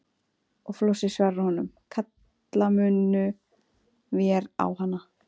Og Flosi svarar honum: Kalla munum vér á hana.